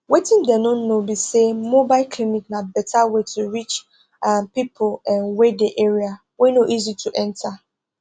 wetin dem no know be saymobile clinic na better way to reach ah pipo um wey dey area wey no easy to enta